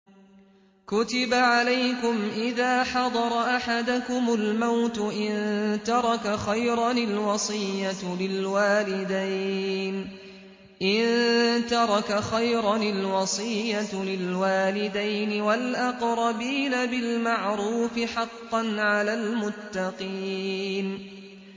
كُتِبَ عَلَيْكُمْ إِذَا حَضَرَ أَحَدَكُمُ الْمَوْتُ إِن تَرَكَ خَيْرًا الْوَصِيَّةُ لِلْوَالِدَيْنِ وَالْأَقْرَبِينَ بِالْمَعْرُوفِ ۖ حَقًّا عَلَى الْمُتَّقِينَ